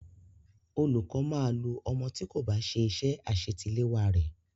Olùkọ́ máa lu ọmọ tí kò bá ṣe iṣẹ́ àṣetiléwá re.